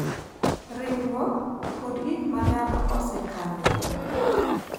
Riwruok, kod gik ma dhano osekaloe.